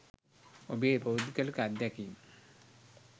ඔබේ පෞද්ගලික අත්දැකීම්.